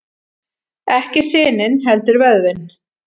Ekki sinin heldur vöðvinn.